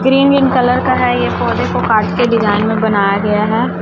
Green green colour का है। ये पौधे को काट के डिजाइन में बनाया गया है।